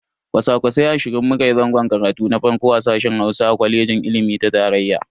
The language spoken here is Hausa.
Kwasa-kwasai ashirin mu kayi zangon karatu na farko a sashen Hausa na kwaleji ilimi ta tarayya.